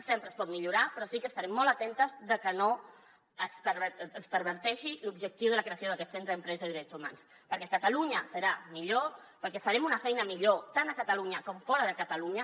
sempre es pot millorar però sí que estarem molt atentes que no es perverteixi l’objectiu de la creació d’aquest centre d’empresa i drets humans perquè catalunya serà millor perquè farem una feina millor tant a catalunya com fora de catalunya